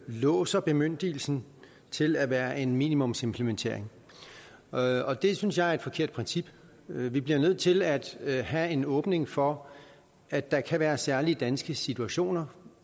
låser bemyndigelsen til at være en minimumsimplementering og det synes jeg er et forkert princip vi bliver nødt til at at have en åbning for at der kan være særlige danske situationer